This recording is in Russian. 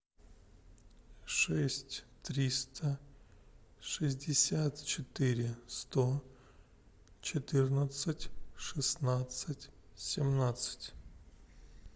шесть триста шестьдесят четыре сто четырнадцать шестнадцать семнадцать